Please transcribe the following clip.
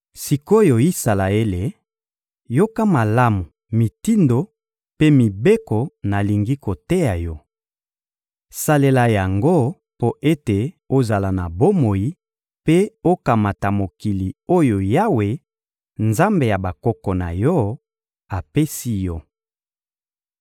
Sik’oyo Isalaele, yoka malamu mitindo mpe mibeko oyo nalingi koteya yo. Salela yango mpo ete ozala na bomoi mpe okamata mokili oyo Yawe, Nzambe ya bakoko na yo, apesi yo.